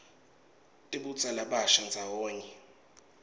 tibutsa labasha ndzawonye